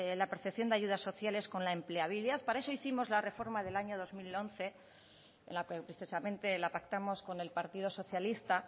la percepción de ayudas sociales con la empleabilidad para eso hicimos la reforma del año dos mil once en la que expresamente pactamos con el partido socialista